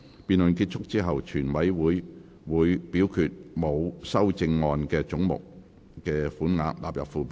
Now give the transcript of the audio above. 辯論結束後，全體委員會會表決沒有修正案的總目的款額納入附表。